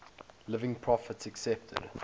living prophets accepted